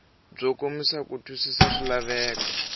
byo kombisa ku twisisa swilaveko